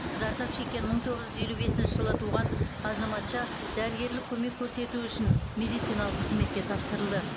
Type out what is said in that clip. зардап шеккен мың тоғыз жүз елу бесінші жылы туған азаматша дәрігерлік көмек көрсету үшін медициналық қызметке тапсырылды